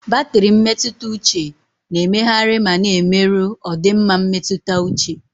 Batrị mmetụta uche na-emegharị ma na-emerụ ọdịmma mmetụta uche.